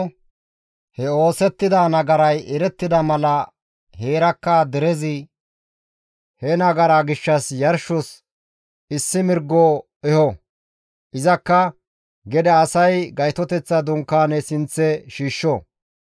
he oosettida nagaray erettida mala heerakka derezi he nagaraa gishshas yarshos issi mirgo eho; izakka asay Gaytoteththa Dunkaane sinththe shiishsho.